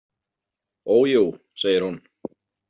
Ójú, segir hún.